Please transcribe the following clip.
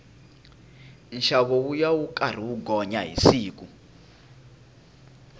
nxavo wuya wu karhi wu gonya hi siku